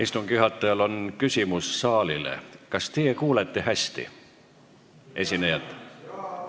Istungi juhatajal on küsimus saalile: kas teie kuulete esinejat hästi?